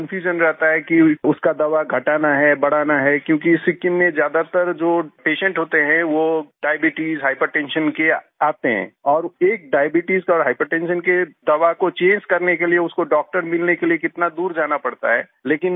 उसको कन्फ्यूजन रहता है कि उसका दवा घटाना है बढ़ाना है क्योंकि सिक्किम में ज्यादातर जो पेशेंट होते हैं वो डायबीट्स हाइपरटेंशन के आते हैं और एक डायबीट्स और हाइपरटेंशन के दवा को चंगे करने के लिये उसको डॉक्टर मिलने के लिए कितना दूर जाना पड़ता है